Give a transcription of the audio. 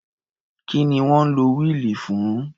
Kí ni wọ́n ń lo wíìlì fún?